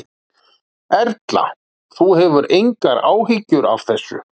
Erla: Þú hefur engar áhyggjur af þessu?